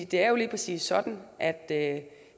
det er jo lige præcis sådan at at